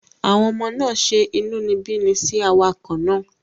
Àwọn ọmọ náà ṣe inúnibíni sí awakọ̀ náà